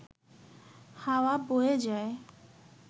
হাওয়া বয়ে যায়